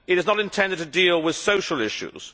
it is not intended to deal with social issues.